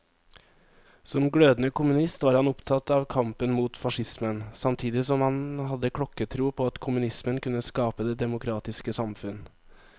Som glødende kommunist var han opptatt av kampen mot facismen, samtidig som han hadde klokketro på at kommunismen kunne skape det demokratiske samfunn.